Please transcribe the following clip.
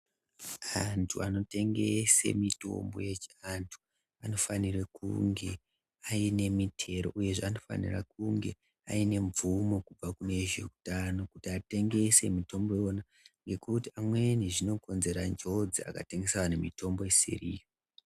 Anthu anotengese mitombo yechianthu anofanire kunge aine mitero uyezve anofanire kunge aine mvumo kubva kune vezveutano kuti atengese mitombo Iwona ngekuti amweni zvinokonzera njodzi akatengesera anthu mitombo isiriyo.